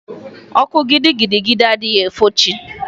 Ọkụ gidigidi adịghị enwufo chi.